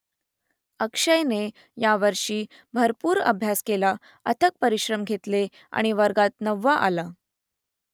अक्षयने यावर्षी भरपूर अभ्यास केला अथक परिश्रम घेतले आणि वर्गात नववा आला